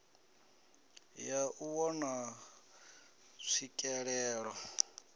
ya u vhona tswikelelo ya